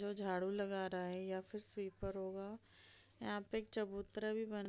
जो झाड़ू लगा रहा है या फिर स्वीपर होगा यहाँ पे एक चबूतरा भी बन --